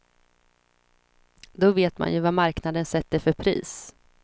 Då vet man ju vad marknaden sätter för pris.